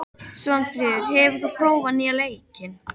Svanfríður, hefur þú prófað nýja leikinn?